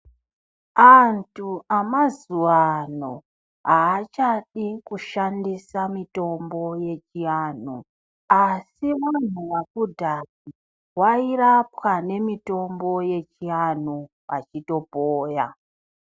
Antu amazuwaano, aachadi kushandisa mitombo yechianhu, asi vanhu vakudhaya vairapwa nemitombo yechianhu, achitopoya.